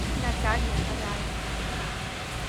наталья райкина